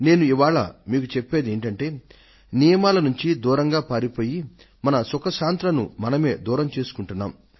నేను ఇవాళ మీకు చెప్పేది ఏమిటంటే నియమాల నుంచి దూరంగా పారిపోయి మన సుఖ శాంతులను మనమే దూరం చేసుకుంటున్నాం